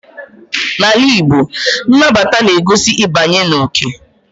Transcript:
N'ala Igbo, nnabata na-egosi ịbanye n'oke.